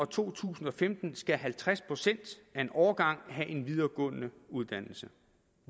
to tusind og femten skal halvtreds procent af en årgang have en videregående uddannelse